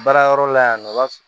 Baara yɔrɔ la yan nɔ i b'a fɔ